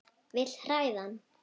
Vil hræða hann.